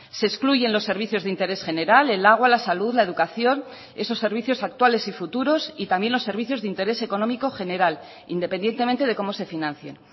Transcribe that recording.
se excluyen los servicios de interés general el agua la salud la educación esos servicios actuales y futuros y también los servicios de interés económico general independientemente de cómo se financien